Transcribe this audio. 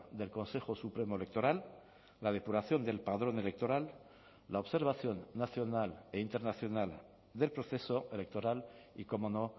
del consejo supremo electoral la depuración del padrón electoral la observación nacional e internacional del proceso electoral y cómo no